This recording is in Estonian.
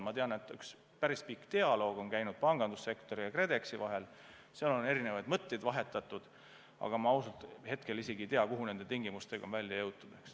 Ma tean, et üks päris pikk dialoog on käinud pangandussektori ja KredExi vahel, seal on erinevaid mõtteid vahetatud, aga ma ausalt ei tea, kuhu nende tingimustega on välja jõutud.